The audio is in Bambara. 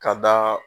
Ka da